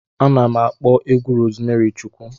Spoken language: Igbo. Ana m akpọ egwu Rozmari Chukwu.